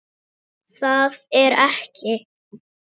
Það er ekki.